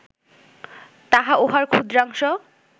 তাহা উহার ক্ষুদ্রাংশ